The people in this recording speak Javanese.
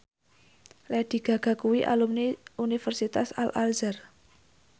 Lady Gaga kuwi alumni Universitas Al Azhar